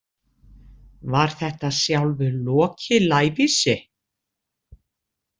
Var þetta sjálfur Loki lævísi?